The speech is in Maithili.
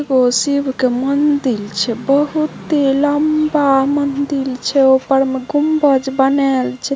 वो शिव के मंदिल छै बहुते लंबा मंदिल छै ऊपर में गुंबज बनाल छै।